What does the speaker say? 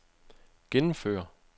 gennemføre